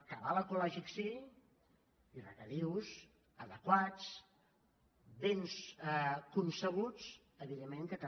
cabal ecològic sí i regadius adequats ben concebuts evidentment que també